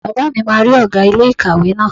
Bàbá mi máa rí ọ̀gá ilé ìkàwé náà